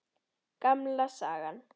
Gamla sagan.